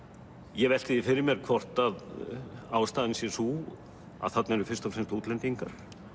ég velti því fyrir mér hvort að ástæðan sé sú að þarna eru fyrst og fremst útlendingar